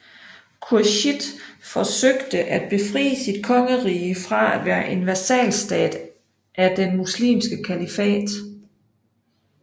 Khurshid forsøgte at befri sit kongerige fra at være en vasalstat af den muslimske kalifat